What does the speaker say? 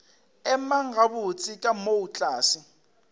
emang gabotse ka moo tlase